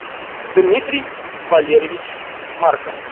дмитрий валерьевич марков